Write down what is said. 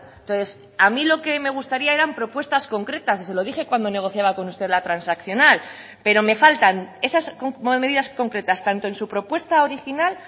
entonces a mí lo que me gustaría eran propuestas concretas y se lo dije cuando negociaba con usted la transaccional pero me faltan esas medidas concretas tanto en su propuesta original